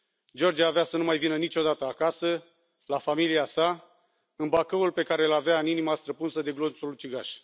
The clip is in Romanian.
George avea să nu mai vină niciodată acasă, la familia sa, în Bacăul pe care îl avea în inima străpunsă de glonțul ucigaș.